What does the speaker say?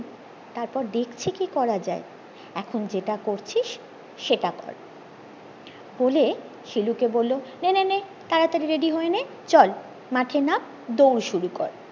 তারপর দেখছি কি করা যায় এখন যেটা করছিস সেটা কর বলে শিলুকে বললো নে নে নে তাড়াতাড়ি রেডি হয়ে নে চল মাঠে নাম দৌড় শুরু কর